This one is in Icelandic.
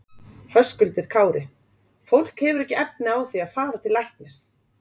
Höskuldur Kári: Fólk hefur ekki efni á því að fara til læknis?